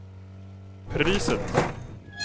priset